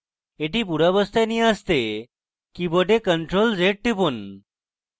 এটি পূর্বাবস্থায় নিয়ে আসতে কীবোর্ডে ctrl + z টিপুন